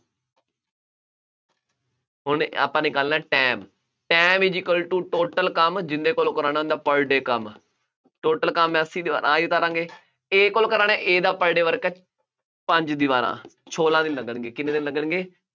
ਹੁਣ ਆਪਾਂ ਨਿਕਾਲਣਾ time, time is equal to total ਕੰਮ ਜਿਹਦੇ ਕੋਲੋਂ ਕਰਾਉਣਾ, ਉਹਦਾ per day ਕੰਮ total ਕੰਮ ਹੈ, ਅੱਸੀ ਦੀਵਾਰਾਂ ਆਹੀ ਉਤਾਰਾਂਗੇ, A ਕੋਲ ਕਰਾਉਣਾ, A ਦਾ per day work ਹੈ ਪੰਜ ਦੀਵਾਰਾਂ, ਸੌਲਾ ਦਿਨ ਲੱਗਣਗੇ, ਕਿੰਨੇ ਦਿਨ ਲੱਗਣਗੇ,